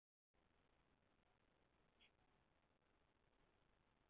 Þakka þér líka fyrir það hvað þú ert alltaf góður við hana mömmu þína.